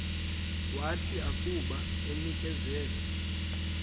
wathi akuba enikezelwe